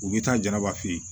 U bɛ taa jaraba feere